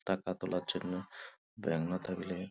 টাকা তোলার জন্য ব্যাঙ্ক না থাকলে ।